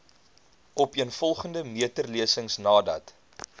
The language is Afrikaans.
opeenvolgende meterlesings nadat